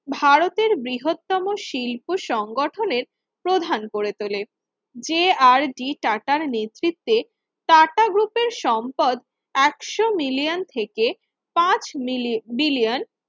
ভারতের বৃহত্তম শিল্প সংগঠনের প্রধান করে তোলেন যে আর ডি আটাটার নেতৃত্বে টাটা group র সম্পদ একশো million থেকে পাঁচ bilion